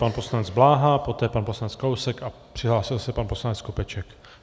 Pan poslanec Bláha, poté pan poslanec Kalousek a přihlásil se pan poslanec Skopeček.